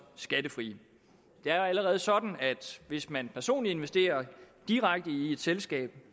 skattefrie det er allerede sådan at hvis man personligt investerer direkte i et selskab